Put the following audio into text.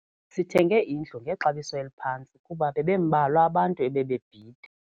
Sithenge indlu ngexabiso eliphantsi kuba bebembalwa abantu ebebebhida.